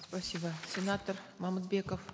спасибо сенатор мамытбеков